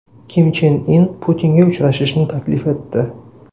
Kim Chen In Putinga uchrashishni taklif etdi.